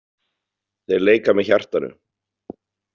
Þeir leika með hjartanu.